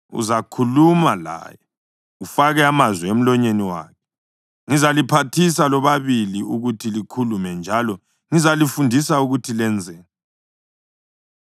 Uzakhuluma laye ufake amazwi emlonyeni wakhe. Ngizaliphathisa lobabili ukuthi likhulume njalo ngizalifundisa ukuthi lenzeni.